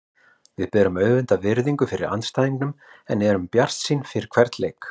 Við berum auðvitað virðingu fyrir andstæðingunum en við erum bjartsýnir fyrir hvern leik.